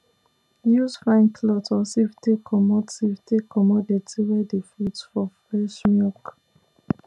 use fine cloth or sieve take comot sieve take comot dirty wey dey float for fresh milk